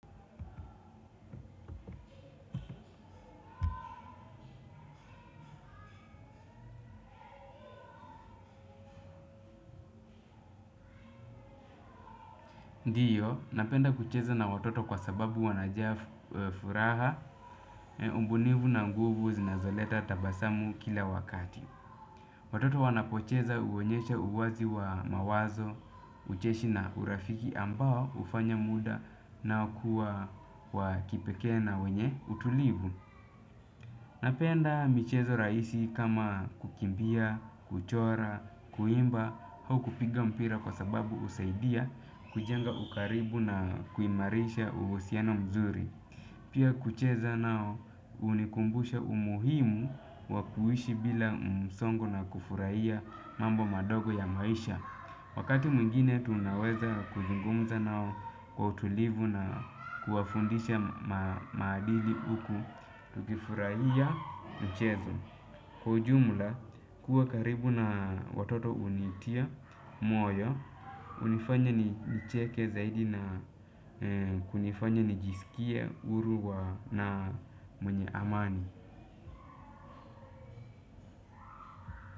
Ndiyo, napenda kucheza na watoto kwa sababu wanajaa furaha, ubunifu na nguvu zinazoleta tabasamu kila wakati. Watoto wanapocheza huonyesha uwazi wa mawazo, ucheshi na urafiki ambao hufanya muda nao kuwa wakipekee na wenye utulivu. Napenda michezo rahisi kama kukimbia, kuchora, kuimba, au kupiga mpira kwa sababu husaidia kujenga ukaribu na kuimarisha uhusiano mzuri. Pia kucheza nao hunikumbusha umuhimu wakuishi bila msongo na kufurahia mambo madogo ya maisha. Wakati mwingine tunaweza kuzungumza nao kwa utulivu na kuwafundisha maadili huku tukifurahia mchezo. Kwa ujumla, kuwa karibu na watoto hunitia, moyo, hunifanya ni nicheke zaidi na kunifanya nijisikie, huru wa na mwenye amani.